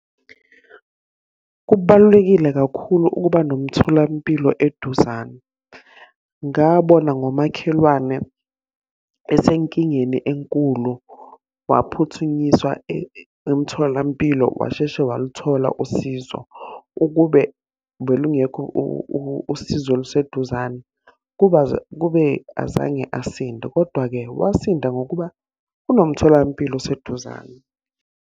Kubalulekile kakhulu ukuba nomtholampilo eduzane. Ngabona ngomakhelwane esenkingeni enkulu, waphuthunyiswa emtholampilo washeshe waluthola usizo. Ukube belungekho usizo oluseduzane, kuba kube azange asinde, kodwa-ke wasinda ngokuba kunomtholampilo oseduzane.